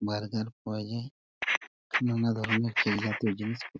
burger পাওয়া যায় নানা ধরনের কেক জাতীয় জিনিস --